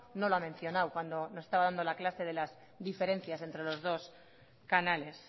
no lo ha mencionado cuando nos estaba dando la clase de las diferencias entre los dos canales